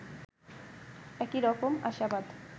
একই রকম আশাবাদ